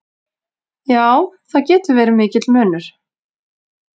Já, það getur verið mikill munur.